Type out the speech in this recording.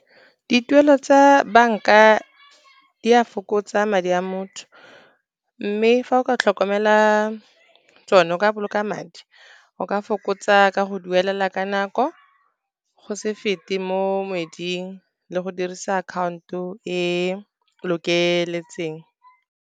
Dituelo tsa banka di a fokotsa madi a motho, mme fa o ka tlhokomela tsone, o ka boloka madi, o ka fokotsa ka go duelela ka nako, go se fete mo kgweding le go dirisa account-o e lokeletseng.